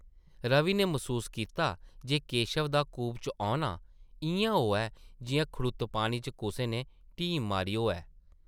रवि नै मसूस कीता जे केशव दा कूपे च औना इʼयां होआ ऐ जिʼयां खड़ुत्त पानी च कुसै नै ढीम मारी होऐ ।